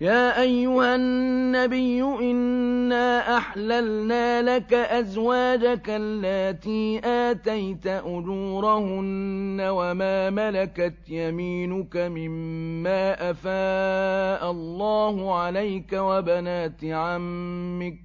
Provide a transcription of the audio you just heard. يَا أَيُّهَا النَّبِيُّ إِنَّا أَحْلَلْنَا لَكَ أَزْوَاجَكَ اللَّاتِي آتَيْتَ أُجُورَهُنَّ وَمَا مَلَكَتْ يَمِينُكَ مِمَّا أَفَاءَ اللَّهُ عَلَيْكَ وَبَنَاتِ عَمِّكَ